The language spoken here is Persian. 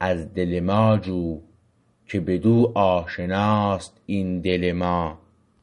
از دل ما جو که بدو آشناست این دل ما